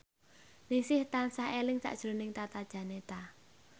Ningsih tansah eling sakjroning Tata Janeta